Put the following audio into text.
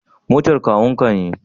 Motar kakun ka ne?